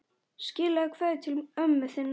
Skilaðu kveðju til ömmu þinnar.